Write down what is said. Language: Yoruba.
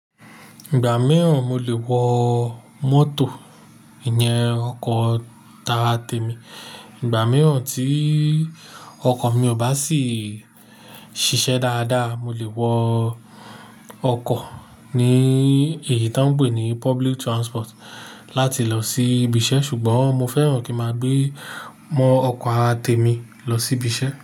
Ìgbà mìíràn mo lè wọ mọ́tò ìyẹn ọkọ̀ tara tèmi. Ìgbà mìíràn tí ọkọ̀ mi ò bá sì ṣiṣẹ́ dáadáa, mo lè wọ ọkọ̀ ní èyí tí wọ́n ń pè ní public transport láti lọ sí ibiṣẹ́. Ṣùgbọ́n mo fẹ́ràn kí máa gbé mọ ọkọ̀ ara tèmi lọ sí ibiṣẹ́